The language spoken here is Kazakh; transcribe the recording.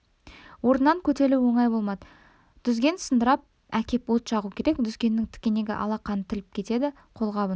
орнынан көтерілу оңай болмады дүзген сындырып әкеп от жағу керек дүзгеннің тікенегі алақанын тіліп кетеді қолғабын